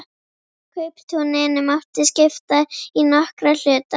Kauptúninu mátti skipta í nokkra hluta.